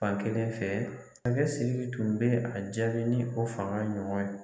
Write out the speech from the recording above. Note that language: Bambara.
Fankelen fɛ Siriki tun bɛ a jaabi ni o fanga ɲɔgɔn ye